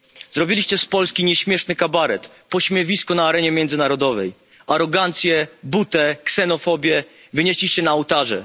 Zrobiliście z Polski nieśmieszny kabaret, pośmiewisko na arenie międzynarodowej. Arogancję, butę i ksenofobię wynieśliście na ołtarze.